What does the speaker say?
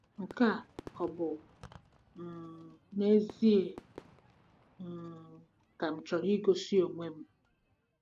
Nke a ọ bụ um n'ezie um ka m chọrọ igosi onwe m?